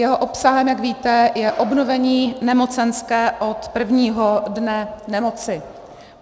Jeho obsahem, jak víte, je obnovení nemocenské od prvního dne nemoci.